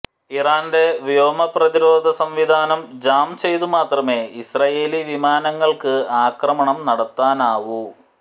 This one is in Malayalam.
ഇറാന്റെ വ്യോമപ്രതിരോധ സംവിധാനം ജാം ചെയ്തു മാത്രമേ ഇസ്രയേലി വിമാനങ്ങള്ക്ക് ആക്രമണം നടത്താനാവൂ